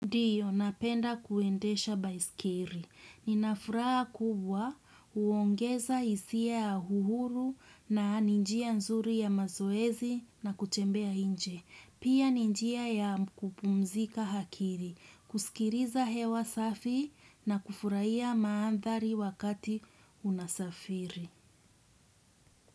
Ndio napenda kuendesha baisikeri. Inafuraha kubwa huongeza hisia ya uhuru na ni njia nzuri ya mazoezi na kutembea nje. Pia ninjia ya kupumzika hakiri. Kusikiliza hewa safi na kufurahia maandhari wakati unasafiri.